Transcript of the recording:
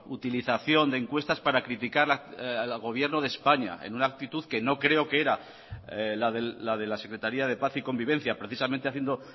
utilización de encuestas para criticar al gobierno de españa en una actitud que no creo que era la de la secretaría de paz y convivencia precisamente haciendo